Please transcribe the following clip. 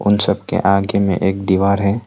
हम सबके आगे में एक दीवार है।